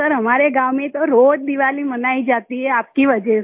sir हमारे गाँव में तो रोज दीवाली मनाई जाती है आपकी वजह से